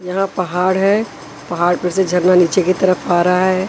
यहां पहाड़ है पहाड़ पर से झरना नीचे की तरफ आ रहा है।